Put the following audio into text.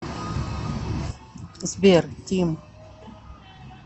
сбер тим